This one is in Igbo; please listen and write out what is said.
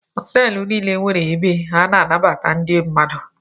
Họtelụ niile nwere ebe a na-anabata ndị mmadụ.